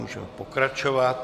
Můžeme pokračovat.